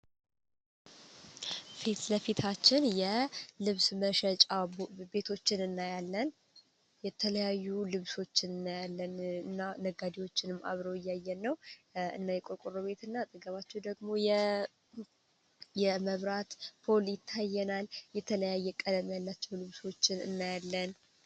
ፊት ለፊታችን የልብስ መሸጫው ቤቶችን እናያለን የተለያዩ ልብሶችን እናያለን እና ነጋዴዎችንም አብረው እያየን ነው እና የቆቁሩ ቤት እና ጥገባቸው ደግሞ የመብራት ፖል ይታየናል የተለያ ቀደም ያላቸው ልብሶችን እናያለን፡፡